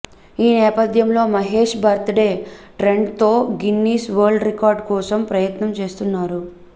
ఈ నేపథ్యంలో Mahesh birthday ట్రెండ్తో గిన్నిస్ వరల్డ్ రికార్డ్ కోసం ప్రయత్నం చేస్తున్నారు